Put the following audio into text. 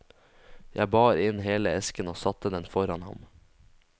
Jeg bar inn hele esken og satte den foran ham.